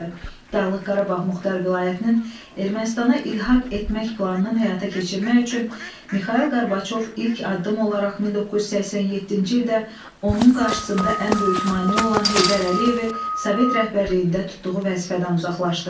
Dağlıq Qarabağ Muxtar Vilayətinin Ermənistana ilhaq etmək planını həyata keçirmək üçün Mixail Qorbaçov ilk addım olaraq 1987-ci ildə onun qarşısında ən böyük maneə olan Heydər Əliyevi Sovet rəhbərliyində tutduğu vəzifədən uzaqlaşdırdı.